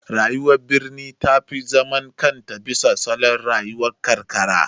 Rayuwar birni ta fi zaman kanta bisa salon rayuwar karkara.